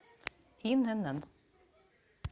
инн